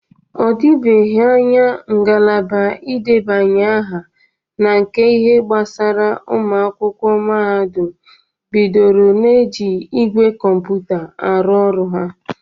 Ọ dibeghi anya ngalaba idebanye aha na nke ihe gbasara ụmụ akwụkwọ mahadụm bidoro na-eji igwe kọmputa arụ ọrụ ha.